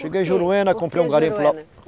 Cheguei em Juruena, comprei um garimpo lá.